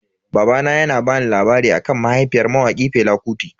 Babana yana bani labari akan mahaifiyar mawaki Fela Kuti.